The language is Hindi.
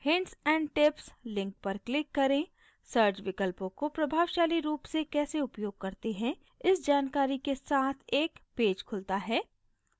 hints and tips link पर click करें